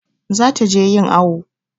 Za ta je yin awu